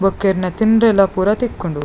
ಬೊಕ್ಕ ಈರ್ನ ತಿಂಡ್ರೆಲ ಪೂರ ತಿಕ್ಕುಂಡು.